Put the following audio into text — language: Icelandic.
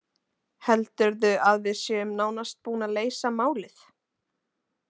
Heldurðu að við séum nánast búin að leysa málið?